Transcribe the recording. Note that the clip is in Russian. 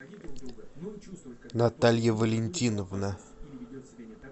наталья валентиновна